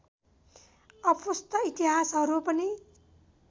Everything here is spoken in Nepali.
अपुष्ट इतिहासहरू पनि